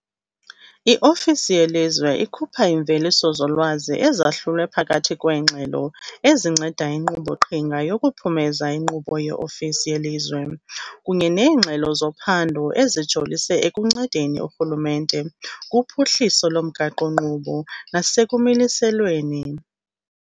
I-ofisi yelizwe ikhupha iimveliso zolwazi ezahlulwe phakathi kweengxelo ezinceda inkqubo-qhinga yokuphumeza inkqubo ye-ofisi yelizwe kunye neengxelo zophando ezijolise ekuncedeni urhulumente kuphuhliso lomgaqo-nkqubo nasekumiliselweni.